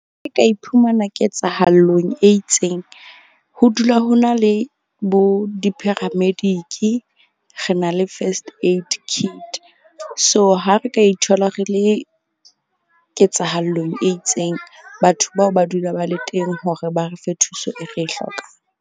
Ke ka iphumana ketsahallong e itseng. Ho dula ho na le bo di-paramedic. Re na le first aid kit, so ha re ka ithola re le ketsahallong e itseng. Batho bao ba dula ba le teng hore ba re fe thuso e re e hlokang.